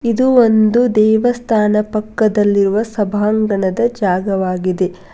ಇದು ಒಂದು ದೇವಸ್ಥಾನ ಪಕ್ಕದಲ್ಲಿರುವ ಸಭಾಂಗಣದ ಜಾಗವಾಗಿದೆ.